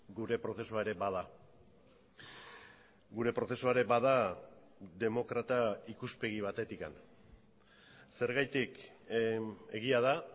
gure prozesua ere bada gure prozesua ere bada demokrata ikuspegi batetik zergatik egia da